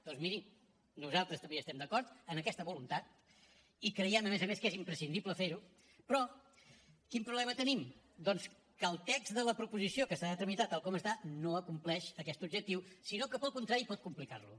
doncs miri nosaltres també hi estem d’acord en aquesta voluntat i creiem a més a més que és imprescindible fer ho però quin problema tenim doncs que el text de la proposició que s’ha de tramitar tal com està no acompleix aquest objectiu sinó que al contrari pot complicar lo